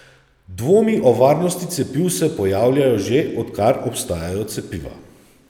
Dvomi o varnosti cepiv se pojavljajo že, odkar obstajajo cepiva.